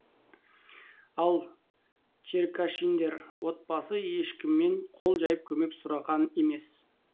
ал черкашиндер отбасы ешкімнен қол жайып көмек сұраған емес